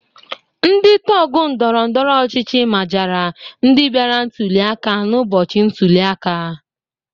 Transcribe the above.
Ndị tọgụ ndọrọndọrọ ọchịchị majara ndị bịara ntuli aka n'ụbọchị ntuli aka.